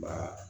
Ba